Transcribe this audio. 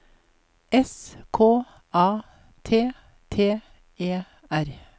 S K A T T E R